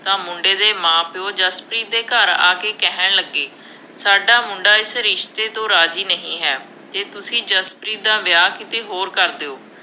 ਤਾਂ ਮੁੰਡੇ ਦੇ ਮਾਂ-ਪਿਉ ਜਸਪ੍ਰੀਤ ਦੇ ਘਰ ਆ ਕੇ ਕਹਿਣ ਲੱਗੇ, ਸਾਡਾ ਮੁੰਡਾ ਇਸ ਰਿਸ਼ਤੇ ਤੋਂ ਰਾਜ਼ੀ ਨਹੀਂ ਹੈ। ਜੇ ਤੁਸੀਂ ਜਸਪ੍ਰੀਤ ਦਾ ਵਿਆਹ ਕਿਤੇ ਹੋਰ ਕਰ ਦਿਓ।